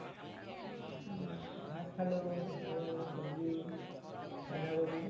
মই ভাত খালো আৰু চব্জি বান্ধা কবি